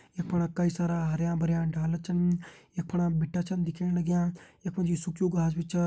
यफणा कई सारा हरयाँ भरयां डाला भी छन यफणा बिट्टा छन दिखेण लग्यां यख मा जी सुख्यूं घास भी छा।